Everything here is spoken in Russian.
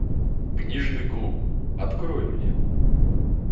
книжный клуб открой мне